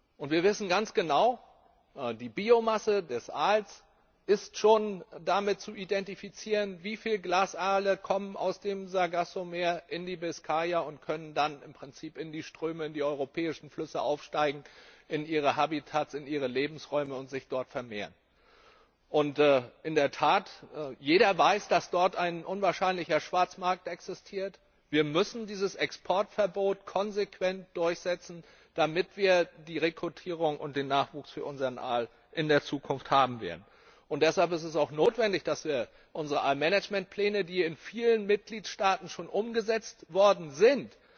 Und wir wissen ganz genau, die Biomasse des Aals ist daran zu erkennen, wie viele Glasaale aus dem Sargassomeer in die Biskaya kommen und dann im Prinzip in die Ströme, in die europäischen Flüsse in ihre Habitats, in ihre Lebensräume aufsteigen und sich dort vermehren können. In der Tat weiß jeder, dass dort ein unwahrscheinlicher Schwarzmarkt existiert. Wir müssen dieses Exportverbot konsequent durchsetzen, damit wir die Rekrutierung und den Nachwuchs für unseren Aal in der Zukunft haben werden! Deshalb ist es auch notwendig, dass wir unsere Aal Managementpläne, die in vielen Mitgliedstaaten schon umgesetzt worden